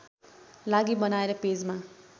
लागि बनाएर पेजमा